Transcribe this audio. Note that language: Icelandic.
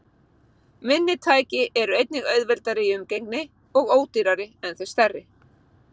Minni tæki eru einnig auðveldari í umgengni og ódýrari en þau stærri.